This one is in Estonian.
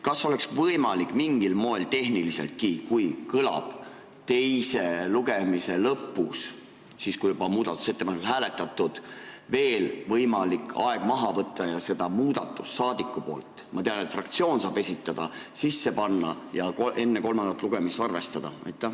Kas oleks võimalik mingil moel, kui teise lugemise lõpus on juba muudatusettepanekuid hääletatud, veel aeg maha võtta ja saadiku tehtud muudatusettepanekut – ma tean, et fraktsioon saab seda esitada – sisse panna ja enne kolmandat lugemist arvestada?